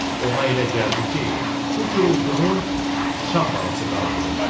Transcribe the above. Ona elə gəldi ki, bu gurultunu sıçan balası qaldırıb.